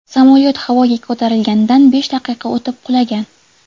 Samolyot havoga ko‘tarilganidan besh daqiqa o‘tib qulagan.